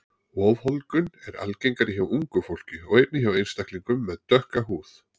Ofholdgun er algengari hjá ungu fólki og einnig hjá einstaklingum með dökka húð.